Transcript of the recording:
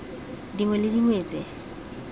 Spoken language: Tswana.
dingwe le dingwe tse di